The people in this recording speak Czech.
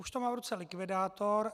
Už to má v ruce likvidátor.